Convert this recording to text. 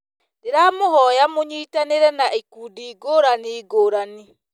Ndĩramũhoya mũnyitanĩre na ikundi ngũrani ngũrani